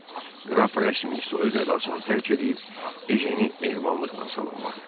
Qraf rəsmi soyuq ədasını tərk eləyib Ejeni mehribanlıqla salamladı.